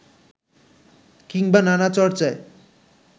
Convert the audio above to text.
কিংবা নানা চর্চায়